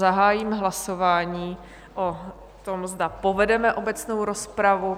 Zahájím hlasování o tom, zda povedeme obecnou rozpravu.